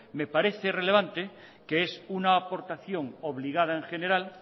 me parece relevante que es una aportación obligada en general